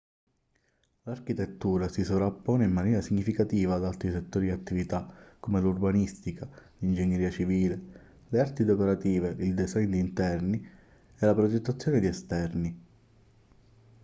l'architettura si sovrappone in maniera significativa ad altri settori di attività come l'urbanistica l'ingegneria civile le arti decorative il design di interni e la progettazione di esterni